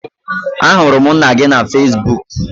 Ahụrụ m nna gị na Fesbuk